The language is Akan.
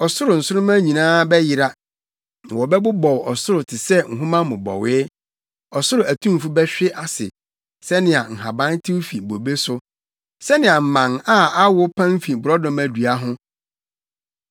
Ɔsoro nsoromma nyinaa bɛyera na wɔbɛbobɔw ɔsoro te sɛ nhoma mmobɔwee; ɔsoro atumfo bɛhwe ase sɛnea nhaban tew fi bobe so, sɛnea mman a awo pan fi borɔdɔma dua ho.